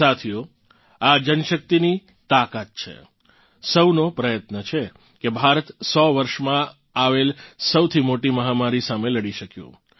સાથીઓ આ જનશક્તિની તાકાત છે સૌનો પ્રયત્ન છે કે ભારત 100 વર્ષમાં આવેલ સૌથી મોટી મહામારી સામે લડી શક્યું